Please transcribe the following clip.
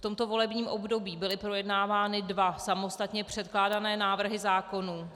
V tomto volebním období byly projednávány dva samostatně předkládané návrhy zákonů.